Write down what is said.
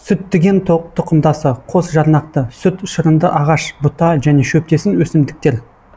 сүттіген тұқымдасы қос жарнақты сүт шырынды ағаш бұта және шөптесін өсімдіктер